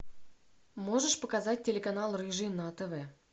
можешь показать телеканал рыжий на тв